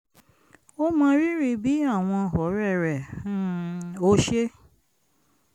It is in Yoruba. ó mọrírì bí àwọn ọ̀rẹ́ rẹ̀ um ò ṣe